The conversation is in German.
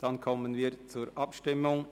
– Dann kommen wir zur Abstimmung.